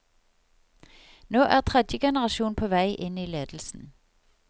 Nå er tredje generasjon på vei inn i ledelsen.